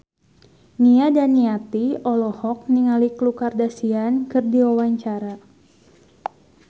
Nia Daniati olohok ningali Khloe Kardashian keur diwawancara